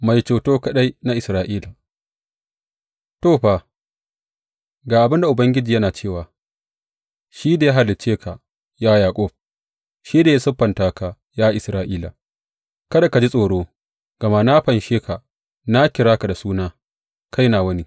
Mai Ceto kaɗai na Isra’ila To, fa, ga abin da Ubangiji yana cewa, shi da ya halicce ka, ya Yaƙub, shi da ya siffanta ka, ya Isra’ila, Kada ka ji tsoro, gama na fanshe ka; na kira ka da suna; kai nawa ne.